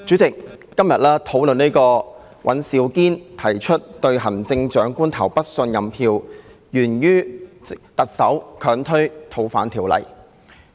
主席，今天討論尹兆堅議員提出"對行政長官投不信任票"議案，源於特首強推《逃犯條例》。